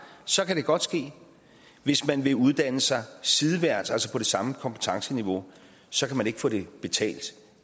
så kan det godt ske hvis man vil uddanne sig sideværts altså på det samme kompetenceniveau så kan man ikke få det betalt